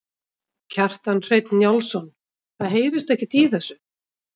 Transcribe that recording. Kjartan Hreinn Njálsson: Það heyrist ekkert í þessu?